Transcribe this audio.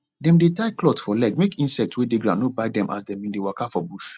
dem dey tie cloth for leg make insects wey dey ground no bite dem as dem bin dey waka for bush